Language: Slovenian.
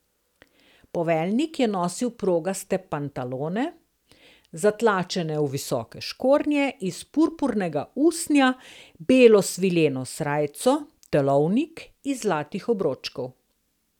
Poveljnik je nosil progaste pantalone, zatlačene v visoke škornje iz purpurnega usnja, belo svileno srajco, telovnik iz zlatih obročkov.